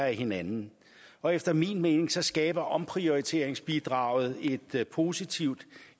af hinanden og efter min mening skaber omprioriteringsbidraget et positivt